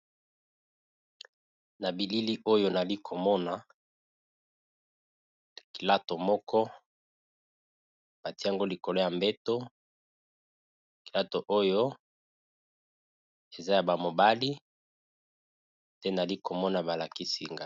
Na bilili oyo nalikomona kilato moko batiango likolo ya mbeto, kilato oyo eza ya ba mobali nde nalikomona balakisi ngai.